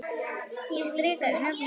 Ég strika yfir nöfnin.